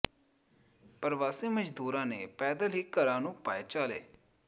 ਪਰਵਾਸੀ ਮਜ਼ਦੂਰਾਂ ਨੇ ਪੈਦਲ ਹੀ ਘਰਾਂ ਨੂੰ ਪਾਏ ਚਾਲੇ